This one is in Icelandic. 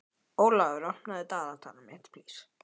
Ólafur, opnaðu dagatalið mitt.